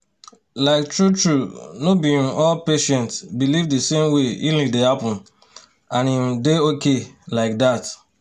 like true-true no be um all patients believe the same way healing dey happen — and e um dey okay like that.